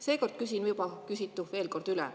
Seekord küsin juba küsitu veel kord üle.